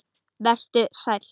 Vertu sæll.